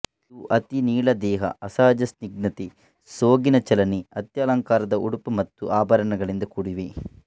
ಇವು ಅತಿ ನೀಳದೇಹ ಅಸಹಜ ಸ್ನಿಗ್ಧತೆ ಸೋಗಿನ ಚಲನೆ ಅತ್ಯಲಂಕಾರದ ಉಡುಪು ಮತ್ತು ಆಭರಣಗಳಿಂದ ಕೂಡಿವೆ